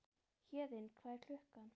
Héðinn, hvað er klukkan?